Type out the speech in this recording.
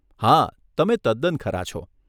હા, તમે તદ્દન ખરા છો.